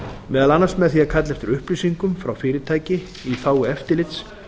meðal annars með því að kalla eftir upplýsingum frá fyrirtæki í þágu eftirlits